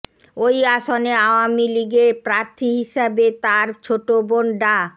ঐ আসনে আওয়ামী লীগের প্রার্থী হিসেবে তার ছোটো বোন ডা